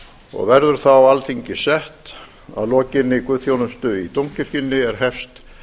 og verður þá alþingi sett að lokinni guðsþjónustu í dómkirkjunni er hefst